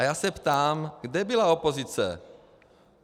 A já se ptám, kde byla opozice.